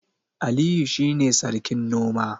Aliyu shine sarkin noma